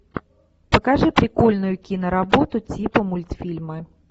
покажи прикольную киноработу типа мультфильмы